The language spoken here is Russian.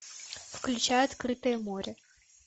включай открытое море